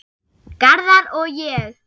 Garðar og ég